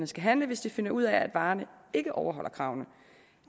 skal handle hvis de finder ud af at varerne ikke overholder kravene